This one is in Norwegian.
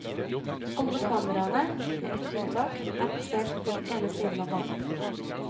Alle kameraene, med ett unntak, er plassert på den ene siden av banen.